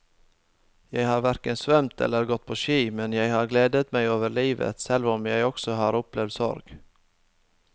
Jeg har hverken svømt eller gått på ski, men jeg har gledet meg over livet selv om jeg også har opplevd sorg.